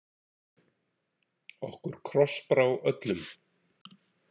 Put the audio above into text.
Okkur krossbrá öllum.